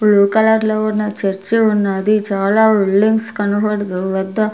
blue కలర్లో న church ఉన్నది చాలా వెల్డింగ్స్ కనబడతూ వద్ద--